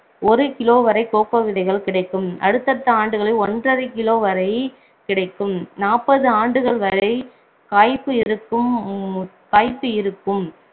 ஒரு kilo வரை cocoa விதைகள் கிடைக்கும் அடுத்தடுத்த ஆண்டுகளில் ஒன்றரை kilo வரை கிடைக்கும் நாற்பது ஆண்டுகள் வரை காய்ப்பு இருக்கும் காய்ப்பு இருக்கும்